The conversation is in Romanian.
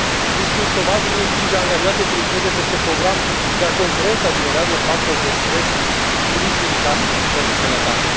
Riscul șomajului împinge angajații să lucreze peste program, iar concurența generează factori de stres cu risc ridicat pentru sănătate.